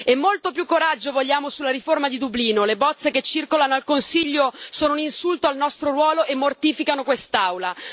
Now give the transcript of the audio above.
E molto più coraggio vogliamo sulla riforma di Dublino le bozze che circolano al Consiglio sono un insulto al nostro ruolo e mortificano quest'Aula.